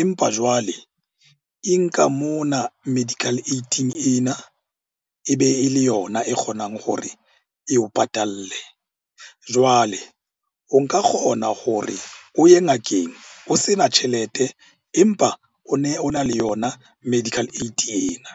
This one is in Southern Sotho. empa jwale e nka mona medical aid-ing ena. E be e le yona e kgonang hore eo patalle. Jwale o nka kgona hore o ye ngakeng o se na tjhelete, empa o ne o na le yona medical aid ena.